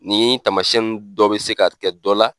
Nin taamasiyɛn nun dɔ bɛ se ka kɛ dɔ la.